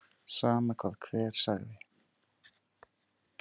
Sama hvað hver segði.